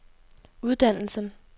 uddannelsen